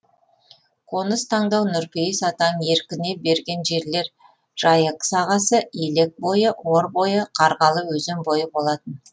қоныс таңдау нұрпейіс атаның еркіне берген жерлер жайық сағасы елек бойы ор бойы қарғалы өзен бойы болатын